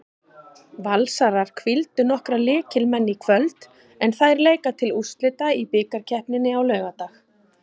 Valsarar hvíldu nokkra lykilmenn í kvöld en þær leika til úrslita í bikarkeppninni á laugardag.